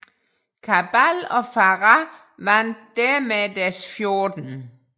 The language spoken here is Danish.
Cabal og Farah vandt dermed deres 14